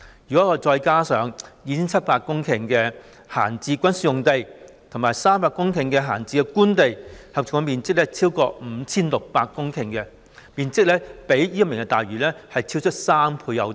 如果再加上 2,700 公頃的閒置軍事用地及300公頃的閒置官地，合共面積便超過 5,600 公頃，面積較推行"明日大嶼願景"可獲得的土地超出3倍有多。